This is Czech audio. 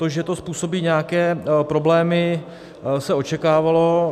To, že to způsobí nějaké problémy, se očekávalo.